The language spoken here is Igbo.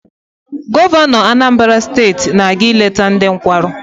Gọvanọ Anambara steeti na-aga ileta ndị nkwarụ.